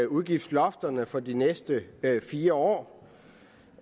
udgiftslofterne for de næste fire år